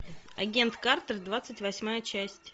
агент картер двадцать восьмая часть